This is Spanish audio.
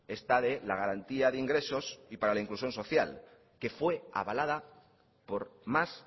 esta de la garantía de ingresos y para la inclusión social que fue avalada por más